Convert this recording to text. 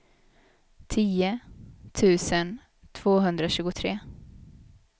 tio tusen tvåhundratjugotre